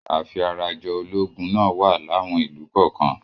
Afi ara jọ ológun náà wà láwọn ìlú kọ́ọ̀kan.